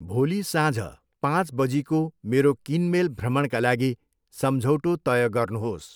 भोलि साँझ बाँच बजीको मेरो किनमेल भ्रमणका लागि सम्झौटो तय गर्नुहोस्